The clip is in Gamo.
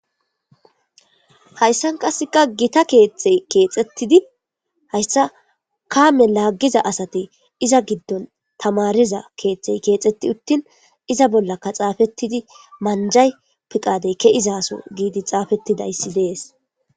hayssan kasseka gita keexey keexettidi hayssa kaame laaggiza asati iza giddon tamariza keeththey keexeti uttin iza bollaka xaafettidi manjay piqadey keizaso giidi xaafettidayssi dees